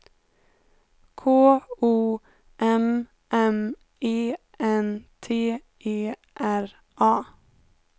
K O M M E N T E R A